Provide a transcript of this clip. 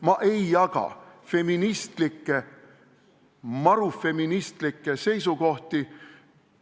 Ma ei jaga feministlikke, marufeministlikke seisukohti.